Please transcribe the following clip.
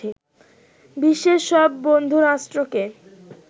বিশ্বের সব বন্ধুরাষ্ট্রকে